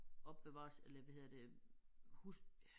Opbevarer eller hvad hedder det hus